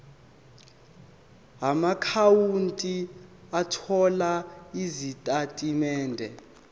amaakhawunti othola izitatimende